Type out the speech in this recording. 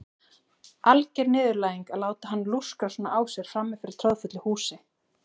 Alger niðurlæging að láta hann lúskra svona á sér frammi fyrir troðfullu húsi.